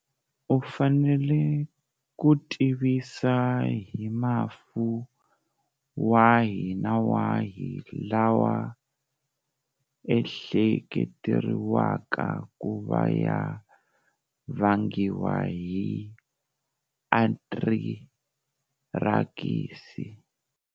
U fanela ku tivisa hi mafu wahi na wahi lawa ehleketeriwaka ku va ya vangiwa hi anthirakisi.